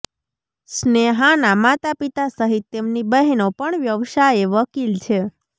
સ્નેહાના માતાપિતા સહીત તેમની બહેનો પણ વ્યવસાયે વકીલ છે